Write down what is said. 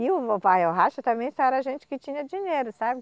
E o também só era gente que tinha dinheiro, sabe?